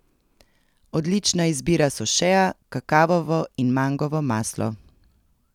Odlična izbira so šea, kakavovo in mangovo maslo.